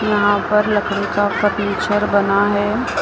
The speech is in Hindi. यहां पर लकड़ी का फर्नीचर बना है।